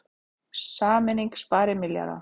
Sameining spari milljarða